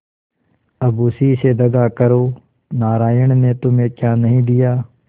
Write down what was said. अब उसी से दगा करो नारायण ने तुम्हें क्या नहीं दिया